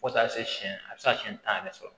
Fo taa se siyɛn a bɛ se ka siɲɛ tan yɛrɛ sɔrɔ